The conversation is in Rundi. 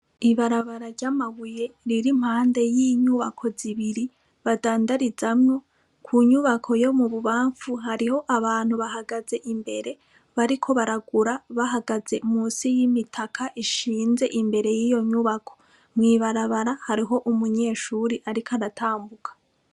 Ibarabara rya mabuye ririmpande yinyubako zibiri badandarizamwo , inyubako yo mubububamfu hariho abantu bahagaze imbere bariko baragura bahagaze munsi yimitaka ishinze imbere yiyo nyubako mwibarabara hariho umunyeshure Ariko aratambuka.